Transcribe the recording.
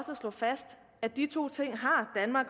slå fast at de to ting har